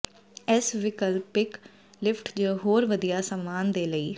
ਇਸ ਵਿਕਲਪਿਕ ਲਿਫਟ ਜ ਹੋਰ ਵਧੀਆ ਸਾਮਾਨ ਦੇ ਲਈ